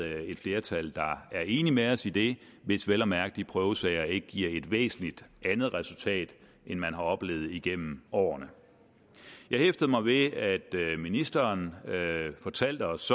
er et flertal der er enig med os i det hvis vel at mærke de prøvesager ikke giver et væsentlig andet resultat end man har oplevet igennem årene jeg hæftede mig ved at ministeren fortalte os